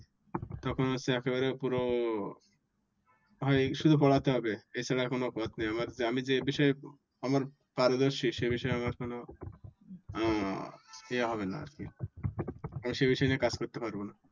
তখন হচ্ছে একেবারে পুরো হয় শুধু পড়াতে হবে। এছাড়া আর কোনো পথ নাই আমার। আমি যে বিষয়ে আমার পারদর্শী সে বিষয়ে আমার কোনো আহ ইয়া হবে না আর কি। আমি সে বিষয় নিয়ে কাজ করতে পারবো না।